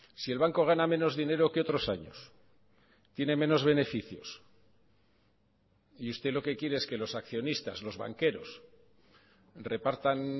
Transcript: si el banco gana menos dinero que otros años tiene menos beneficios y usted lo que quiere es que los accionistas los banqueros repartan